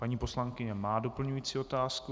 Paní poslankyně má doplňující otázku.